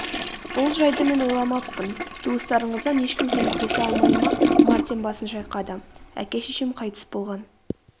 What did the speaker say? бұл жайды мен ойламаппын туыстарыңыздан ешкім көмектесе алмай ма мартин басын шайқады.әке-шешем қайтыс болған